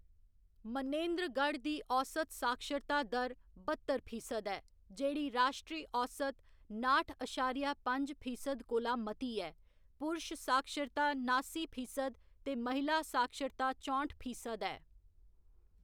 मनेंद्रगढ़ दी औसत साक्षरता दर बत्तर फीसद ऐ, जेह्‌‌ड़ी राश्ट्री औसत नाठ अशारिया पंज फीसद कोला मती ऐ, पुरश साक्षरता नासी फीसद ते महिला साक्षरता चौंठ फीसद ऐ।